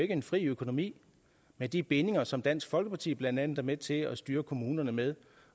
ikke en fri økonomi med de bindinger som dansk folkeparti blandt andet er med til at styre kommunerne med